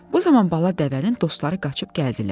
Bu zaman bala dəvənin dostları qaçıb gəldilər.